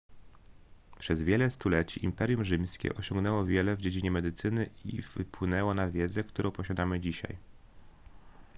przez wiele stuleci imperium rzymskie osiągnęło wiele w dziedzinie medycyny i wpłynęło na wiedzę którą posiadamy dzisiaj